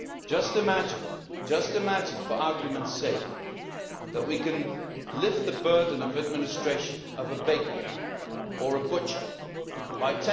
Just imagine, for argument's sake, that we can lift the burden of administration from a baker or a butcher by